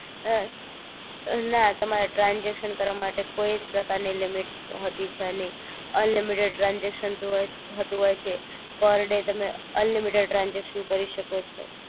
અ અ ના તમારે ટ્રાનજેક્શન કરવા માટે કોઈ જ પ્રકાર ની લિમિટ હોતી છે નહિ અનલિમિટેડ ટ્રાનજેક્શન થતું હોય છે પર ડે તમે અનલિમિટેડ ટ્રાનજેક્શન કરી શકો છો